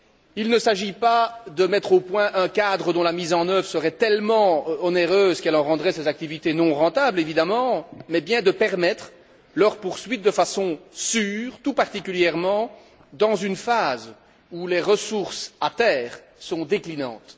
Il ne s'agit évidemment pas de mettre au point un cadre dont la mise œuvre serait tellement onéreuse qu'elle en rendrait ces activités non rentables, mais bien de permettre leur poursuite de façon sûre, tout particulièrement dans une phase où les ressources à terre sont déclinantes.